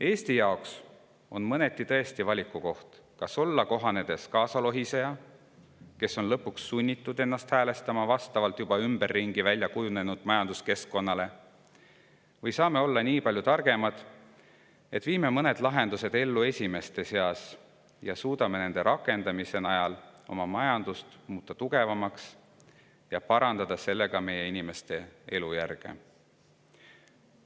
Eesti jaoks on tõesti mõneti valikukoht see, kas olla kohanev kaasalohiseja, kes on lõpuks sunnitud ennast häälestama juba ümberringi välja kujunenud majanduskeskkonna järgi, või saame me olla nii palju targemad, et viime mõned lahendused ellu esimeste seas ja suudame nende rakendamise najal oma majandust tugevamaks muuta, parandades sellega meie inimeste elujärge.